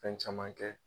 Fɛn caman kɛ